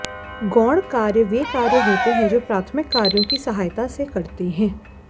गौण कार्य वे कार्य होते हैं जो प्राथमिक कार्यों की सहायता करते है